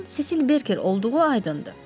Onun Sesil Berker olduğu aydındır.